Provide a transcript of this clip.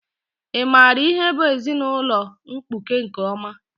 Ị maara ihe bụ ezinaụlọ mkpuke nke ọma?